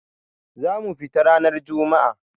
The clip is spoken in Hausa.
za mu fita ranar Juma'a.